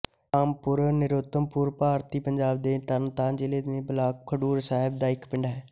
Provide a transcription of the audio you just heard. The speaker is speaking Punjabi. ਰਾਮਪੁਰ ਨਰੋਤਮਪੁਰ ਭਾਰਤੀ ਪੰਜਾਬ ਦੇ ਤਰਨਤਾਰਨ ਜ਼ਿਲ੍ਹੇ ਦੇ ਬਲਾਕ ਖਡੂਰ ਸਾਹਿਬ ਦਾ ਇੱਕ ਪਿੰਡ ਹੈ